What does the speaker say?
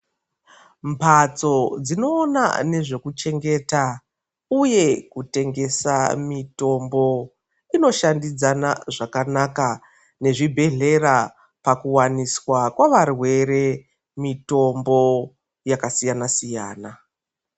Mbatso dzinoona nezvekuchengeta uye kutengesa mitombo inoshandidzana zvakanaka nezvibhedhlera pakuwaniswa kwavarwere mitombo yakasiyana siyana